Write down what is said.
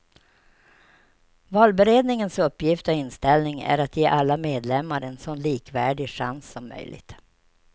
Valberedningen uppgift och inställning är att ge alla medlemar en så likvärdig chans som möjligt.